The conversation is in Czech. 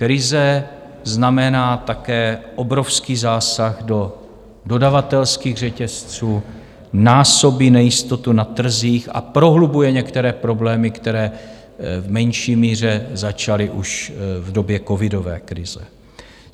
Krize znamená také obrovský zásah do dodavatelských řetězců, násobí nejistotu na trzích a prohlubuje některé problémy, které v menší míře začaly už v době covidové krize.